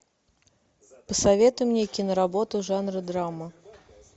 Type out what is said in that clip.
посоветуй мне киноработу жанра драма